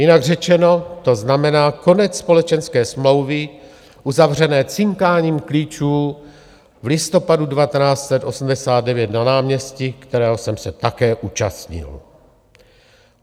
Jinak řečeno, to znamená konec společenské smlouvy uzavřené cinkáním klíčů v listopadu 1989 na náměstí, kterého jsem se také účastnil.